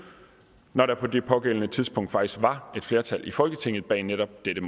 når der på det pågældende tidspunkt faktisk var et flertal i folketinget bag netop dette